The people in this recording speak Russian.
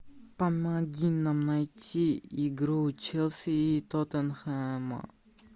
помоги нам найти игру челси и тоттенхэма